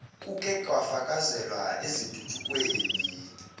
kuke kwafakazeleka ezintuthukweni